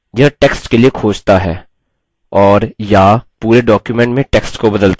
यह टेक्स्ट के लिए खोजता है और/या पूरे डॉक्युमेंट में टेक्स्ट को बदलता है